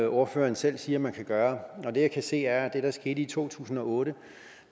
ordføreren selv siger at man kan gøre det jeg kan se er at det der skete i to tusind og otte